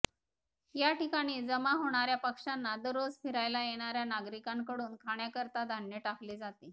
याठिकाणी जमा होणाऱ्या पक्ष्यांना दररोज फिरायला येणाऱ्या नागरिकांकडून खाण्याकरिता धान्य टाकले जाते